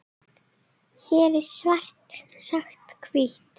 Hér er svart sagt hvítt.